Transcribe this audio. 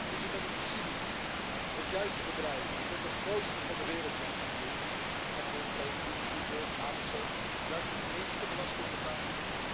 Is het dan niet cynisch dat juist de bedrijven die tot de grootste van de wereld zijn gegroeid Apple, Facebook, Google, Amazon juist de minste belasting betalen?